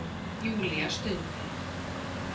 Júlía stundi.